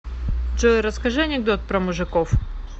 джой расскажи анекдот про мужиков